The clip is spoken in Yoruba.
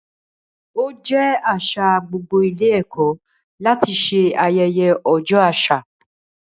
Ó jẹ́ àṣà gbogbo ilé ẹ̀kọ́ láti ṣe ayẹyẹ ọjọ́ àṣà.